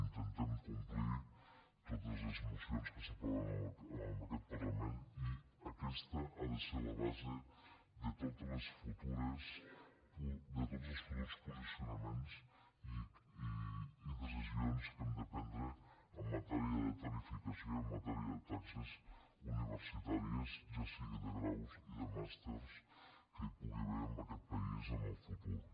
intentem complir totes les mocions que s’aproven en aquest parlament i aquesta ha de ser la base de tots els futurs posicionaments i decisions que hem de prendre en matèria de tarifació i en matèria de taxes universitàries ja sigui de graus o de màsters que hi pugui haver en aquest país en el futur